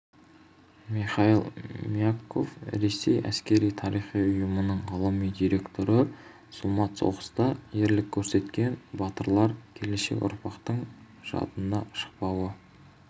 михаил мягков ресей әскери-тарихи ұйымының ғылыми директоры зұлмат соғыста ерлік көрсеткен батырлар келешек ұрпақтың жадынан шықпауы